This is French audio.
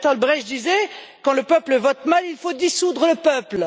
Bertolt Brecht disait Quand le peuple vote mal, il faut dissoudre le peuple.